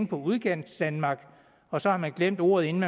på udkantsdanmark og så har man glemt ordet inden